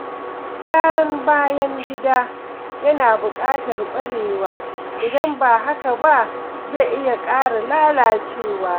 Gyaran bayan gida yana buƙatar ƙwarewa, idan ba haka ba zai iya ƙara lalacewa.